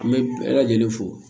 An bɛ bɛɛ lajɛlen fo